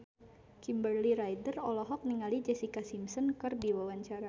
Kimberly Ryder olohok ningali Jessica Simpson keur diwawancara